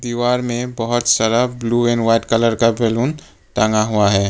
दीवार में बहुत सारा ब्लू एंड व्हाइट कलर का बैलून टंगा हुआ है।